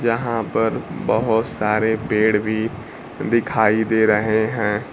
जहां पर बहुत सारे पेड़ भी दिखाई दे रहे हैं।